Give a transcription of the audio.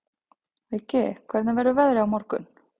Viggi, hvernig verður veðrið á morgun?